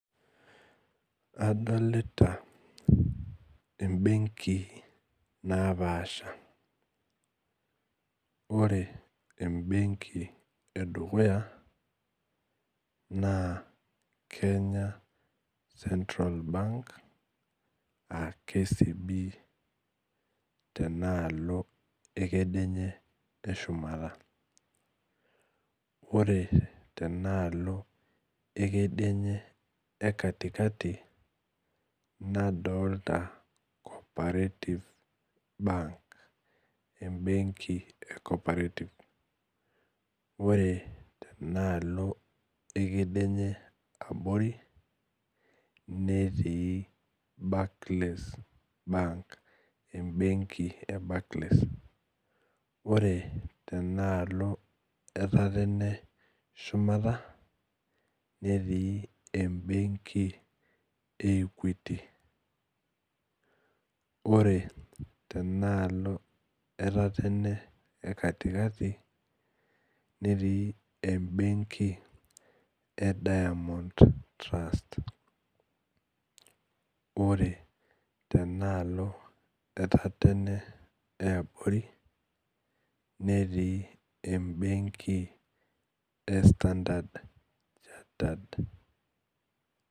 Adolta embenki naapasha ore embenki edukuya na kenya cetral bank aa kcb tenaalo ekedienye eshumata ore tenaalo ekedienye ekatikati nadolta cooperative bank embenki e cooperative ore enaalo ekedienye eabori netii Barclays bank embenk e Barclays ore tenaalo etatene shumata netii embenki e equity ore tenaalo embenki etatene ekatikati netii embenki e diamond trust ore tenaalo etatene eabori netii embenki e standard chartered